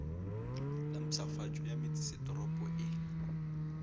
la mpshafatšo ya metsesetoropo e